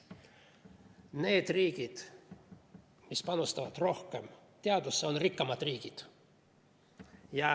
Need riigid, mis panustavad teadusesse rohkem, on rikkamad riigid.